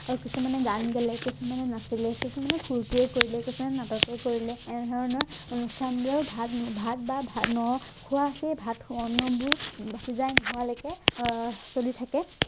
তাৰ কিছুমানে গান গালে কিছুমানে নাচিলে কিছুমানে সুৰটোৱে কৰিলে কিছুমানে নাটকেই কৰিলে এনেধৰণৰ অনুষ্ঠানবোৰ ভাত ভাত বা ভাত নখোৱাকে ভাত নোহোৱালৈকে চলি থাকে